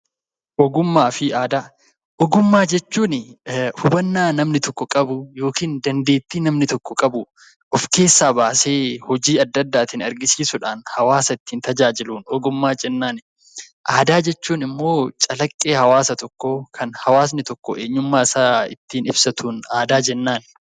Ogummaa jechuun hubannaa namni tokko qabu yookiin dandeettii namni tokko qabu of keessaa baasee hojii adda addaatiin agarsiisuudhaan hawaasa ittiin tajaajiluun ogummaa jennaan. Aadaa jechuun immoo calaqqee hawaasa tokkoo kan hawaasni tokko eenyummaa isaa ittiin ibsatuun aadaa jennaan.